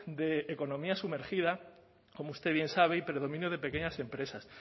de economía sumergida como usted bien sabe y predominio de pequeñas empresas